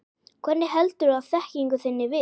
Hvernig heldurðu þekkingu þinni við?